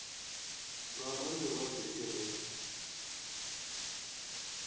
nga ha mirado i re